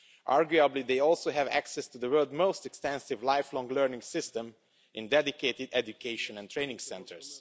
Arguably, they also have access to the world's most extensive lifelong learning system in dedicated education and training centres'.